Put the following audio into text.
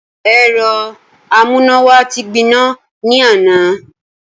Ẹ̀rọ amúnáwá wa ti gbiná. ní àná.